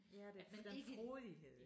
Ja det den frodighed